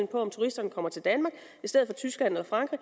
på om turisterne kommer til danmark i stedet for tyskland eller frankrig